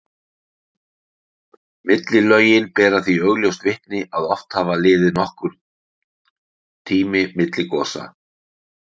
Millilögin bera því augljóst vitni að oft hafi liðið nokkur tími milli gosa.